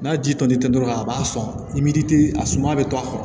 N'a ji tɔli tɛ dɔrɔn a b'a sɔn i tɛ a suma bɛ to a kɔrɔ